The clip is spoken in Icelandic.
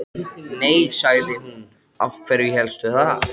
Þykkt grátt hár myndaði krans í kringum andlitið.